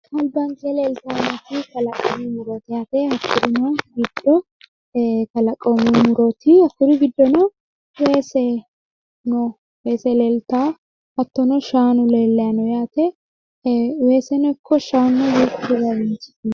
Albanke leeltannoti kalaqamu murooti yaate hakkurino giddo kalaqu murooti hakkuri giddono weese leeltawo hattono shaanu leellayi no yaate weeseno ikko shaanu